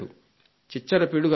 చిచ్చర పిడుగు అనుకోండి